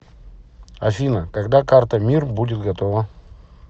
афина когда карта мир будет готова